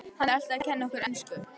Hann er alltaf að kenna okkur ensku!